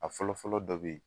A fɔlɔ fɔlɔ dɔ bɛ ye.